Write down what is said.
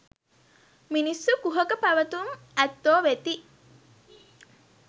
මිනිස්සු කුහක පැවැතුම් ඇත්තෝ වෙති.